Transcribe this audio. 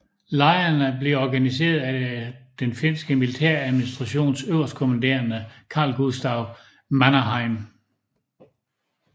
Lejrene blev organiseret af den finske militæradministrations øverstkommanderende Carl Gustaf Mannerheim